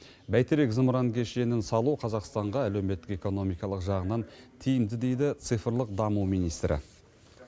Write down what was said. бәйтерек зымыран кешенін салу қазақстанға әлеуметтік экономикалық жағынан тиімді дейді цифрлық даму министрі